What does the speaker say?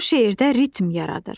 Bu şeirdə ritm yaradır.